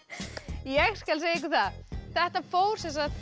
ég skal segja ykkur það þetta fór sem sagt